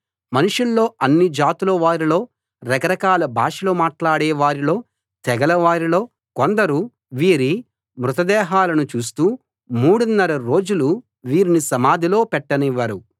మనుషుల్లో అన్ని జాతుల వారిలో రకరకాల భాషలు మాట్లాడే వారిలో తెగల వారిలో కొందరు వీరి మృత దేహాలను చూస్తూ మూడున్నర రోజులు వీరిని సమాధిలో పెట్టనివ్వరు